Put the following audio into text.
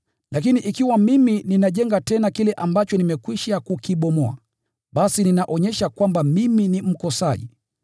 Lakini ikiwa mimi ninajenga tena kile ambacho nimekwisha kukibomoa, basi ninaonyesha kwamba mimi ni mkosaji.